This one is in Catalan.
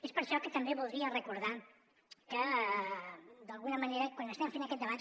és per això que també voldria recordar que d’alguna manera quan estem fent aquest debat